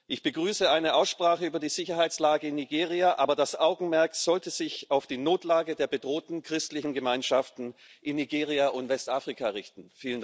Ich begrüße eine Aussprache über die Sicherheitslage in Nigeria, aber das Augenmerk sollte sich auf die Notlage der bedrohten christlichen Gemeinschaften in Nigeria und Westafrika richten.